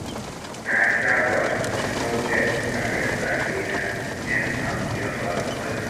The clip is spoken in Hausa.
Na saba da sauya tsare-tsarena idan wani abu ya faru kwatsam.